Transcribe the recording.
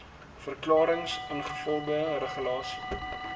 verklarings ingevolge regulasie